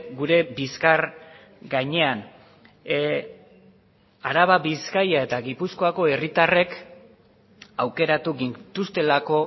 gure bizkar gainean araba bizkaia eta gipuzkoako herritarrek aukeratu gintuztelako